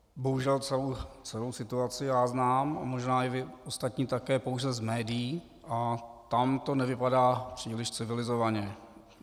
Bohužel celou situaci já znám a možná i vy ostatní také pouze z médií a tam to nevypadá příliš civilizovaně.